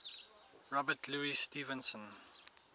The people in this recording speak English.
robert louis stevenson